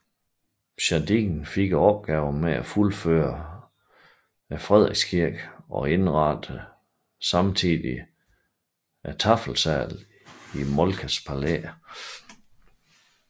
Jardin fik opgaven med at fuldføre Frederikskirken og indrettede samtidig taffelsalen i Moltkes Palæ